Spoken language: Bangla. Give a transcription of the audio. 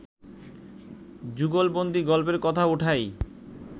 যুগলবন্দী গল্পের কথা ওঠাই